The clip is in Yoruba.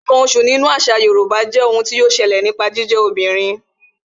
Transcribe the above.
Ǹkan oṣù obìnrin nínú àṣà Yorùbá jé ohun tí yọ ṣẹlẹ̀ nípa jíjẹ́ obìnrin